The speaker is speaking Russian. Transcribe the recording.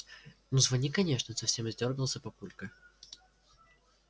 ну звони конечно совсем издёргался папулька